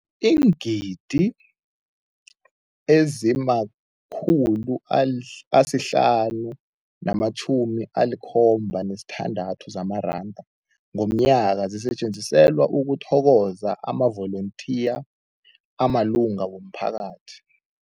Iingidi ezima-576 zamaranda ngomnyaka zisetjenziselwa ukuthokoza amavolontiya amalunga womphakathi.